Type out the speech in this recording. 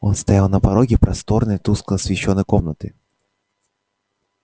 он стоял на пороге просторной тускло освещённой комнаты